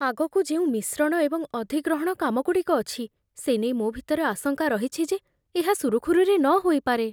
ଆଗକୁ ଯେଉଁ ମିଶ୍ରଣ ଏବଂ ଅଧିଗ୍ରହଣ କାମଗୁଡ଼ିକ ଅଛି, ସେ ନେଇ ମୋ ଭିତରେ ଆଶଙ୍କା ରହିଛି ଯେ ଏହା ସୁରୁଖୁରୁରେ ନ ହୋଇପାରେ।